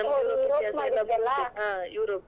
ಹಾ ಯೂರೋಪ್.